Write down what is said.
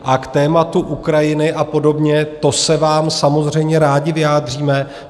A k tématu Ukrajiny a podobně, to se vám samozřejmě rádi vyjádříme.